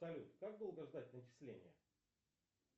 салют как долго ждать начисления